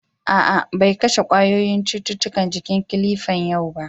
A'a, bai kashe ƙwayoyin cutukan jikin kilifan yau ba.